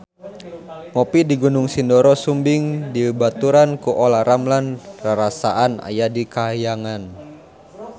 Ngopi di Gunung Sindoro Sumbing dibaturan ku Olla Ramlan rarasaan aya di kahyangan